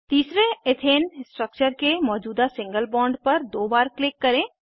तीसरे ethane structure के मौजूदा सिंगल बॉन्ड पर दो बार क्लिक करें